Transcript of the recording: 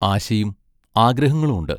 ആശയും ആഗ്രഹങ്ങളും ഉണ്ട്...